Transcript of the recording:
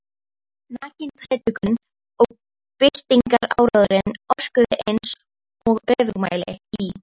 Nakin prédikunin og byltingaráróðurinn orkuðu einsog öfugmæli í